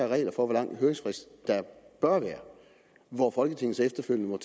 regler for hvor lang en høringsfrist der bør være hvor folketinget så efterfølgende må